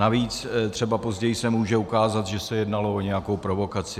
Navíc třeba později se může ukázat, že se jednalo o nějakou provokaci.